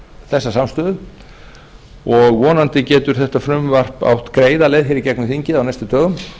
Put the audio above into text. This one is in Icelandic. þessa samstöðu og vonandi getur þetta frumvarp átt greiða leið í gegnum þingið á næstu dögum